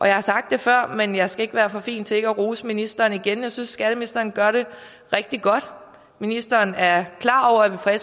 jeg har sagt det før men jeg skal ikke være for fin til at rose ministeren igen jeg synes at skatteministeren gør det rigtig godt ministeren er klar over at vi fra